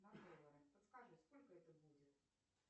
подскажи сколько это будет